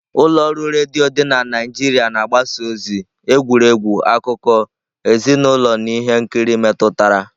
Ụlọ ọrụ redio dị na Naijiria na-agbasa ozi, egwuregwu, akụkọ, ezinụlọ na ihe nkiri metụtara.